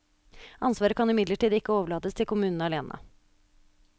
Ansvaret kan imidlertid ikke overlates til kommunene alene.